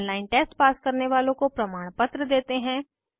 online test pass करने वालों को प्रमाणपत्र देते हैं